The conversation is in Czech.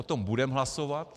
O tom budeme hlasovat.